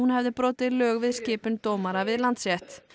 hefði brotið lög við skipun dómara við Landsrétt